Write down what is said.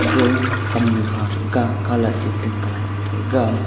ga kamnu kha thaga colad ee pink colad ma taiga.